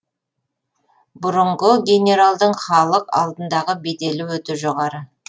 бұрынғы генералдың халық алдындағы беделі өте жоғары